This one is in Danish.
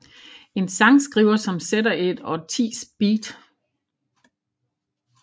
En sangskriver som sætter et årtis beat